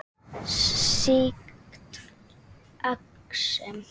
Sýkt exem